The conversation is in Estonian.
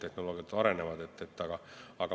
Tehnoloogiad arenevad.